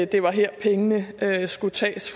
det var her pengene skulle tages